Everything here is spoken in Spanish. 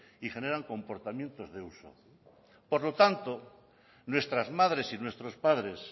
y generan comportamientos de uso por lo tanto nuestras madres y nuestros padres